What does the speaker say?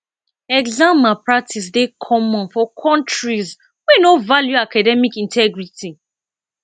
exam malpractice dey common for countries wey no value academic integrity